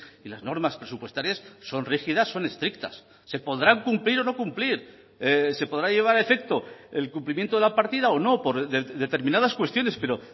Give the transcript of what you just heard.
y las normas presupuestarias son rígidas son estrictas se podrán cumplir o no cumplir se podrá llevar a efecto el cumplimiento de la partida o no por determinadas cuestiones pero